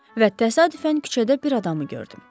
Və təsadüfən küçədə bir adamı gördüm.